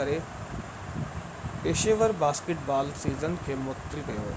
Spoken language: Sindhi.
ڪري پيشيور باسڪيٽ بال سيزن کي معطل ڪيو